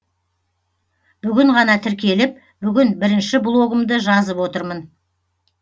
бүгін ғана тіркеліп бүгін бірінші блогымды жазып отырмын